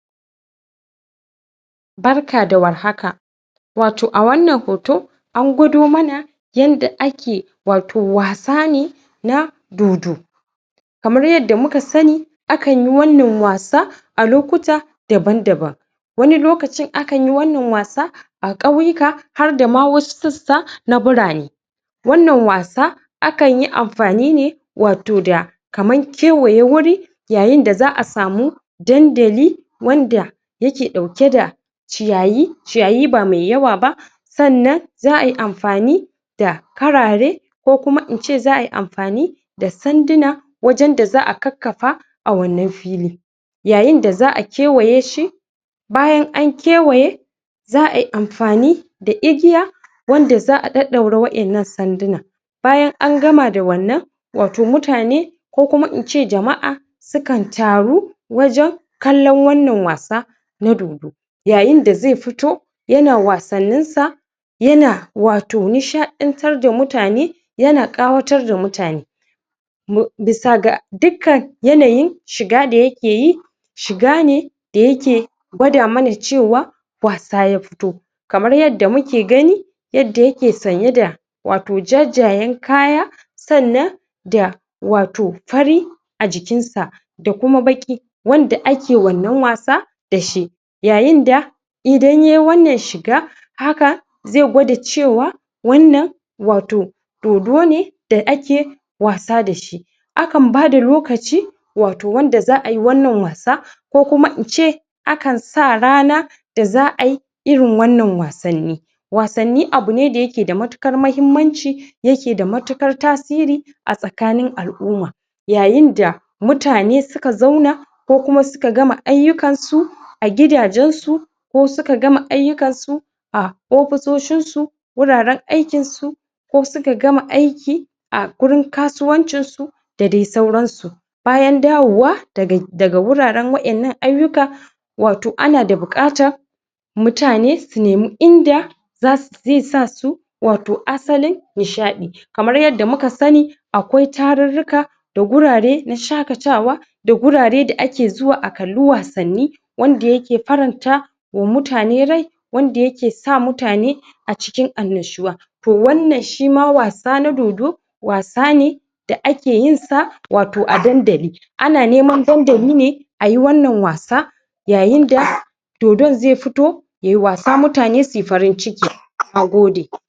Barka da warhaka. Wato a wannan hoto, an gwado mana yanda ake wato wasa ne, na dodo. Kamar yadda muka sani, a kan yi wannan wasa a lokuta daban-daban. Wani lokacin akan yi wannan wasa a ƙauyuka, har da ma wasu sassa na birane. Wannan wasa, a kan yi amfani ne wato da kaman kewaye wuri, yayin da za a samu dandali, wanda yake ɗauke da ciyayyi, ciyayi ba mai yawa ba. Sannan za ai amfani da karare, ko kuma in ce za ai amfani da sanduna, wajan da za a kakkafa a wannan fili. Yayin da za a kewaye shi, bayan an kewaye, za ai amfani da igiya, wanda za ɗaɗɗaura wa'innan sandunan. Bayan an gama da wannan, wato mutane ko kuma in ce jama'a, su kan taru wajan kallon wanna wasa na dodo. Yayin da zai futo yana wasannin sa, yana nishaɗantar da mutane, yana ƙawatar da mutane. Bisa ga dikkan yanayin shiga da yakeyi, shiga ne da yake gwada mana cewa wasa ya futo. Kamar yadda muke gani, yadda yake sanye da wato jajjayen kaya, sannan da wato fari a jikin sa, da kuma baƙi, wanda ake wannan wasa dashi. Yayin da idan yai wannan shiga, haka zai gwada cewa, wannan wato dodo ne da ake wasa da shi. A kan bada lokaci, wato wanda za ai wannan wasa, ko kuma in ce a kan sa rana da za ai irin wannan wasanni. Wasanni abu ne da yake da matuƙar mahimmanci yake da matuƙar tasiri, a tsakanin al'umma. Yayin da mutane suka zauna, ko kuma suka gama ayyukan su a gidajen su, ko suka gama ayyukan su a ofisoshin su, wuraren aikin su, ko suka gama aiki a gurin kasuwancin su, da dai sauran su. Bayan dawowa daga wuraren wa'innan ayyuka, wato ana da buƙatan mutane, su nemi inda zai sa su, wato asalin nishaɗi. Kamar yadda muka sani, akwai tarurruka, da gurare na shaƙatawa, da gurare da ake zuwa a kalli wasanni, wanda yake faranta wa mutane rai, wanda yake sa mutane a cikin annashuwa. To, wannan shi ma wasa na dodo, wasa ne da ake yin sa wato a dandali. Ana neman dandali ne ayi wannan wasa, yayin da dodon zai fito yai wasa, mutane suyi farin ciki. Nagode.